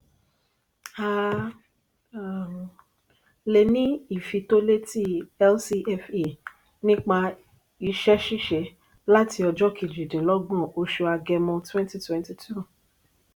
a le ni ifitoleti lcfe nípa iṣẹ ṣiṣe láti ọjọ kejidinlogbon osu agẹmọ twenty twenty two.